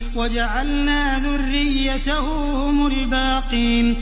وَجَعَلْنَا ذُرِّيَّتَهُ هُمُ الْبَاقِينَ